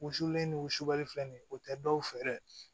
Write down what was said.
U wusulen don wusubali filɛ nin ye o tɛ dɔw fɛ dɛ